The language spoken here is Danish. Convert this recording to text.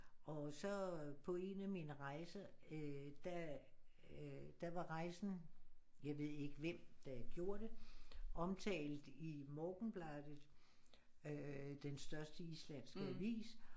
Og så på én af mine rejser øh der der var rejsen jeg ved ikke hvem der gjorde det omtalt i Morgunblaðið øh den største islandske avis